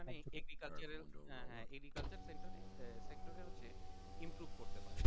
মানে agriculture এর হ্যাঁ হ্যাঁ agriculture sector এ হচ্ছে improve করতে পারে তাইতো?